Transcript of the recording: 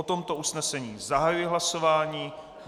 O tomto usnesení zahajuji hlasování.